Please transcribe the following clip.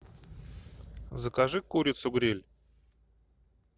закажи курицу гриль